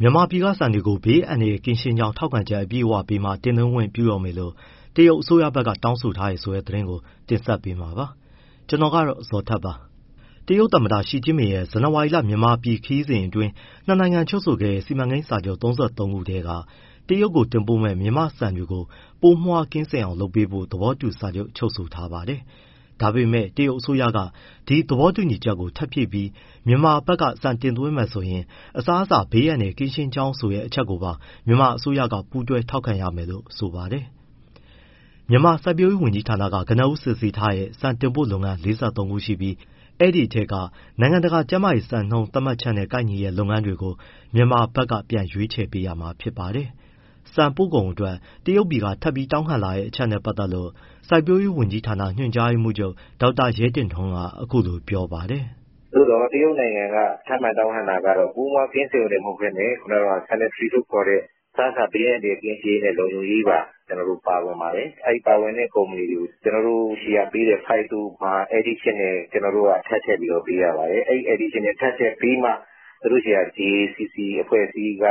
မြန်မာပြည်က ဆန်တွေကို ဘေးအန္တရာယ်ကင်းရှင်းကြောင်း ထောက်ခံချက်အပြည့်အဝပေးမှ တင်သွင်းခွင့်ပြုတော့မယ်လို့ တရုတ်အစိုးရဘက်က တောင်းဆိုထားတယ်ဆိုတဲ့ သတင်းကို ဗွီအိုအေမြန်မာပိုင်းသတင်းထောက် ကိုဇော်ထက်က တင်ဆက်ပေးမှာပါ။ တရုတ်သမ္မတ ရှီကျင့်ပင်ရဲ့ ဇန်နဝါရီလ မြန်မာပြည်ခရီးစဉ်အတွင်း နှစ် နိုင်ငံချုပ်ဆိုခဲ့တဲ့ စီမံကိန်းစာချုပ် ၃၃ ခုထဲမှာ တရုတ်တင်ပို့မယ့် မြန်မာ့ဆန်တွေကို ပိုးမွှားကင်းစင်အောင်လုပ်ပေးဖို့ သဘောတူစာချုပ် ချုပ်ဆိုထားပါတယ်။ ဒါပေမဲ့ တရုတ်အစိုးရက ဒီသဘောတူညီချက်ကို ထပ်ဖြည့်ပြီး မြန်မာဘက်က ဆန်တင်သွင်းမယ်ဆိုရင် အစားအစာ ဘေးအန္တရာယ် ကင်းရှင်းကြောင်းဆိုတဲ့ အချက်ကိုပါ မြန်မာအစိုးရက ပူးတွဲထောက်ခံပေးရမယ်လို့ ဆိုပါတယ်။ မြန်မာစိုက်ပျိုးရေးဝန်ကြီးဌာနက ကနဦး စစ်ဆေးထားတဲ့ ဆန်တင်ပို့လုပ်ငန်း ၄၃ ခုရှိပြီး၊ အဲဒီထဲကမှ နိုင်ငံတကာကျန်းမာရေးစံနှုန်း သတ်မှတ်ချက်နဲ့ ကိုက်ညီတဲ့လုပ်ငန်းတွေကို မြန်မာဖက်က ပြန်ရွေးချယ်ပေးရမှာဖြစ်ပါတယ်။ ဆန်ပို့ကုန်အတွက် တရုတ်ပြည်က ထပ်ပြီးတောင်းခံလာတဲ့ အချက်နဲ့ ပတ်သက်လို့ စိုက်ပျိုးရေးဝန်ကြီးဌာန ညွှန်ချုပ် ဒေါက်တာရဲတင့်ထွန်းက အခုလိုပြောပါတယ်။ “သို့သော် တရုတ်နိုင်ငံက ထပ်မံ တောင်းခံတာကတော့ ပိုးမွှားကင်းစင်ရုံတင် မဟုတ်ဘဲနဲ့ sanitary လို့ခေါ်တဲ့ အစားအစာ ဘေးအန္တရာယ်ကင်းရှင်းရေးနဲ့ လုံခြုံရေးအတွက်ပါ ကျနော်တို့ ပါပါတယ်။ အဲဒီပါတဲ့ ကုမ္ပဏီတွေကို ကျနော်တို့ဆီကပေးတဲ့ phyto မှာ additional ထပ်ထည့်ပြီးတော့ပေးရ ပါတယ်။ အဲဒီ additional ထပ်ထည့်ပေးမှ သူတို့ဆီက DACC အဖွဲ့အစည်းက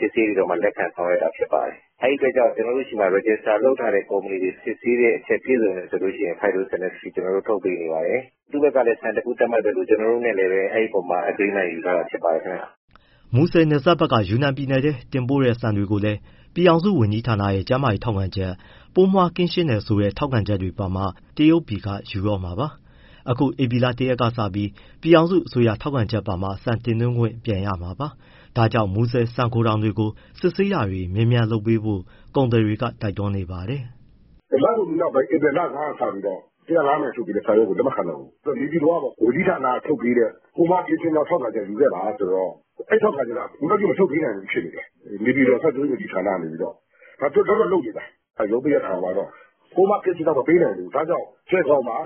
စစ်ဆေးပြီး လက်ခံဆောင်ရွက်တာ ဖြစ်ပါတယ်။ အဲဒီအတွက်ကြောင့် ကျနော်တို့ဆီမှာ register လုပ်ထားတဲ့ ကုမ္ပဏီတွေ စစ်ဆေးတဲ့အချက် ပြည့်စုံတယ်ဆိုရင် phytosanitary certificate ထုတ်ပေးနေပါတယ်။ သူတို့ဘက်က စံတခု သတ်မှတ်သလို ကျနော်တို့နဲ့လည်း အဲဒီအပေါ်မှာ agreement ယူထားတာ ဖြစ်ပါတယ်ဗျ။” မူဆယ်နယ်စပ်ဘက်က ယူနန်ပြည်နယ်ထဲ တင်ပို့တဲ့ ဆန်တွေကိုလည်း ပြည်ထောင်စုဝန်ကြီးဌာနရဲ့ ကျန်းမာရေးထောက်ခံချက်၊ ပိုးမွှားကင်းရှင်းတယ်ဆိုတဲ့ ထောက်ခံချက်တွေပါမှ တရုတ်ပြည်ကယူတော့မှာပါ။ အခု ဧပြီလ ၁ရက်က စပြီး ပြည်ထောင်စုအစိုးရထောက်ခံချက်ပါမှ ဆန်တင်သွင်းခွင့်ပြန်ရမှာပါ။ ဒါကြောင့် မူဆယ် ဆန်ဂိုထောင်တွေကို စစ်ဆေးတာတွေ မြန်မြန်လုပ်ပေးဖို့ ကုန်သည်တွေက တိုက်တွန်းနေပါတယ်။ “လကုန်ပြီးနောက်ပိုင်း ဧပြီလဆန်းကစပြီးတော့ ၁၀၅ မိုင်က ထုတ်ပေးတဲ့ စာရွက်ကို လက်မခံတော့ဘူး။ နေပြည်တော်ကပေါ့ ဝန်ကြီးဌာနက ထုတ်ပေးတဲ့ ပိုးမွှားကင်းရှင်းကြောင်း ထောက်ခံချက် ယူခဲ့ပါဆိုတော့ အဲဒီထောက်ခံချက်က အခုထိ မထုတ်ပေးနိုင်သေးဘူး ဖြစ်နေတယ်။ နေပြည်တော် စိုက်ပျိုးရေးဝန်ကြီးဌာနက။ ဒါပေမဲ့ သူတို့လုပ်တော့လုပ်နေတယ်၊ ရုံးပိတ်ရက်ခံသွားတော့။ ပိုးမွှားကင်းရှင်းကြောင်း မပေးနိုင်သေးဘူး။ ဒါကြောင့် ကြယ်ဂေါင်မှာ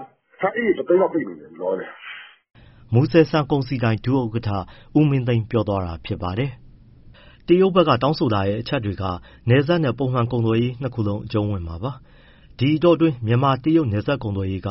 ဆန်အိတ်ရေ ၁၀၀,၀၀၀ လောက်ပိတ်နေတယ် လောလောဆယ်။” မူဆယ် ဆန်ကုန်စည်ဒိုင် ဒုဥက္ကဋ္ဌ ဦးမင်းသိန်း ပြောသွားတာပါ။ တရုတ်ဘက်က တောင်းဆိုတဲ့အချက်တွေက နယ်စပ်နဲ့ ပုံမှန်ကုန်သွယ်ရေး နှစ်ခုလုံးအကြုံးဝင်မှာပါ။ ဒီအတောအတွင်း မြန်မာ- တရုတ် နယ်စပ်ကုန်သွယ်ရေးက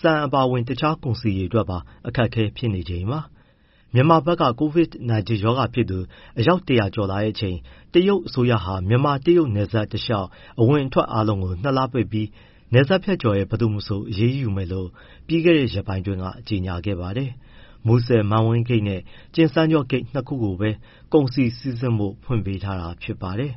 ဆန်အပါအဝင် တခြားကုန်စည်အတွက်ပါ အခက်အခဲဖြစ်နေချိန်ပါ။ မြန်မာဘက် COVID -19 ရောဂါဖြစ်သူ အယောက် ၁၀၀ ကျော်လာချိန် တရုတ်ယူနန်အစိုးရဟာ မြန်မာ- တရုတ်နယ်စပ်တလျှောက် အဝင်အထွက်အားလုံးကို နှစ်လ ပိတ်ပြီး၊ နယ်စပ်ဖြတ်ကျော်တဲ့ ဘယ်သူမဆို အရေးယူမယ်လို့ ပြီးခဲ့တဲ့ ရက်ပိုင်းက ကြေညာခဲ့ပါတယ်။ မူဆယ် မန်ဝိန်းဂိတ်နဲ့ ကျင်စန်းကျော့ ဂိတ် နှစ်ခုပဲ ကုန်စည်စီးဆင်းဖို့ ဖွင့်ပေးထားတာဖြစ်ပါတယ်။